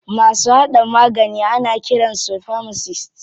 Masu haɗa magani ana kiran su famasist.